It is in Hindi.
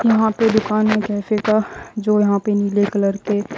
यहां पे दुकान में जैसे का जो यहां पे नीले कलर के--